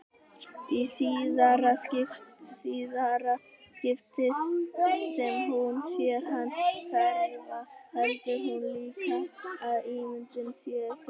Í síðara skiptið sem hún sér hann hverfa heldur hún líka að ímyndunin sé sönn.